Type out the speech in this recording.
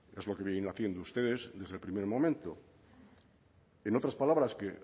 es lo que vienen haciendo ustedes desde el primer momento en otras palabras que